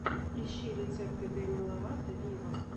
ищи рецепты деми ловато виво